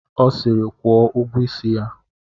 Ọ siri, kwụọ ụgwọ isi ya!